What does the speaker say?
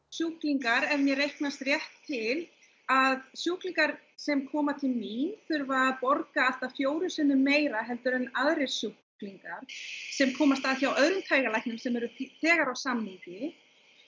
sjúklingar ef mér reiknast rétt til að sjúklingar sem koma til mín þurfa að borga allt að fjórum sinnum meira en aðrir sjúklingar sem komast að hjá öðrum taugalæknum sem eru þegar á samningi